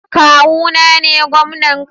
Kawuna ne gomnan Kano